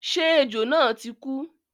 Ṣé ejò náà ti kú?